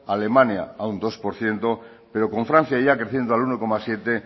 alemania a un dos por ciento pero con francia ya creciendo al uno coma siete e